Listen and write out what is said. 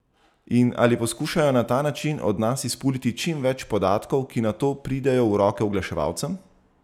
In ali poskušajo na ta način od nas izpuliti čim več podatkov, ki nato pridejo v roke oglaševalcem?